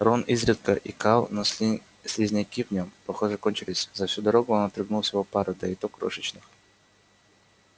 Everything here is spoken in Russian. рон изредка икал но слизняки в нем похоже кончились за всю дорогу он отрыгнул всего пару да и то крошечных